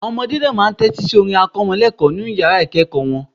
Àwọn ọmọdé náà máa ń tẹ́tí si orin akọ́mọlẹ́ẹ̀kọ́ nínu yàrá ìkẹ́ẹ̀kọ̀ wọn